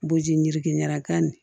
Bojirikinakan nin